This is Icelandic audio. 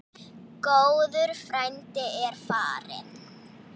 Góður frændi er farinn.